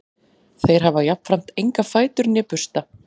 þeir hafa jafnframt enga fætur né bursta